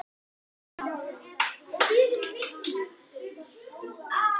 Það þarf enginn að vita af þessu á skrifstofu þinni fyrr en þá.